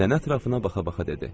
Nənə ətrafına baxa-baxa dedi.